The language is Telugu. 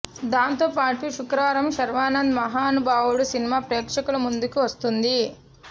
దాంతో పాటు శుక్రవారం శర్వానంద్ మహానుభావుడు సినిమా ప్రేక్షకుల ముందుకి వస్తుంది